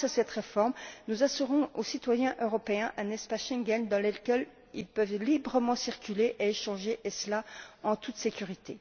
Grâce à cette réforme, nous assurons aux citoyens européens un espace Schengen dans lequel ils peuvent librement circuler et échanger, et cela en toute sécurité.